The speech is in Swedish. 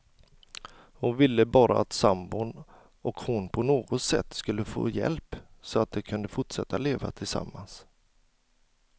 Hon ville bara att sambon och hon på något sätt skulle få hjälp, så att de kunde fortsätta att leva tillsammans.